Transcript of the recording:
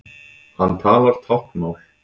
Hann talar táknmál.